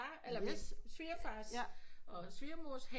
Eller min svigerfars og svigermors have